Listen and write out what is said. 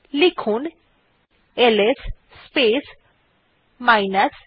লেখা যাক LS space minus a